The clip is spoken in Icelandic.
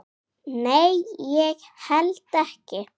Nei, ég held ekki.